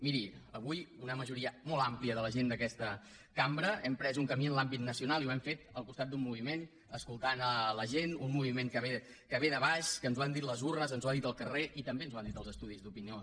miri avui una majoria molt àmplia de la gent d’aquesta cambra hem pres un camí en l’àmbit nacional i ho hem fet al costat d’un moviment escoltant la gent un moviment que ve de baix que ens ho han dit les urnes ens ho ha dit el carrer i també ens ho han dit els estudis d’opinió